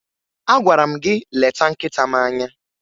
Agwara m gị leta nkịta m anya!